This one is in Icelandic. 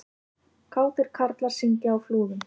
Kátir karlar syngja á Flúðum